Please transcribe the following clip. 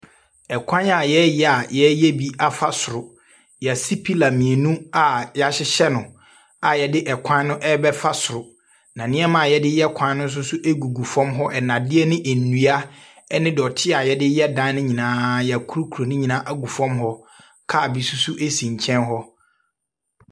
Kwan a wɔreyɛ a wɔreyɛ bi afa soro. Wɔasi pillar mmienu a wɔahyehyɛ no a wɔde kwan no rebɛfa soro, na nneɛma a wɔde reyɛ kwan no nso gugu fam hɔ; nnadeɛ ne nnua ne dɔteɛ a wɔde yɛ dan no nyinaa, wakurukuru ne nyinaa agy fam hɔ. Car bi nso so si nkyɛn hɔ.